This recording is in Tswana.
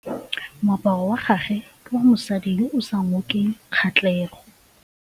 Moaparô wa gagwe ke wa mosadi yo o sa ngôkeng kgatlhegô.